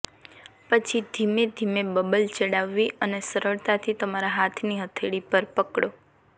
પછી ધીમેધીમે બબલ ચડાવવી અને સરળતાથી તમારા હાથની હથેળી પર પકડો